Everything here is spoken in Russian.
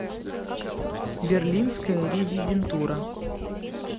берлинская резидентура